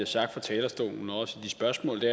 sagt fra talerstolen og også til spørgsmålene